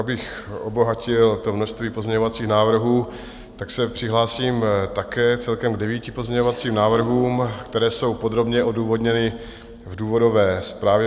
Abych obohatil to množství pozměňovacích návrhů, tak se přihlásím také celkem k devíti pozměňovacím návrhům, které jsou podrobně odůvodněny v důvodové zprávě.